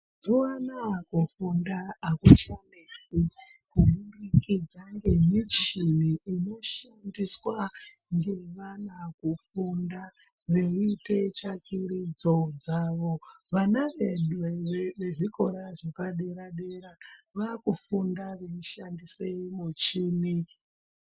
Mazuya anaya kufunda hakuchanetsi kuburikidza ngemichini inoshandiswa ngevana kufunda veiyite tsvakirudzo dzavo. Vana vedu vezvikora zvepadera dera vakufunda veishandise muchini.